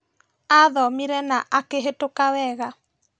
Athomire na akĩhĩtũka wega